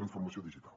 transformació digital